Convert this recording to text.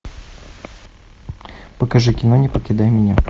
покажи кино не покидай меня